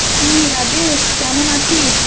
কি রাজেশ কেমন আছিস?